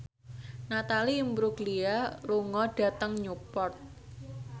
Natalie Imbruglia lunga dhateng Newport